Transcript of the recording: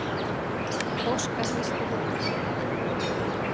Óskar hristi höfuðið.